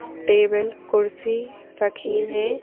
Table कुर्सी रखी है।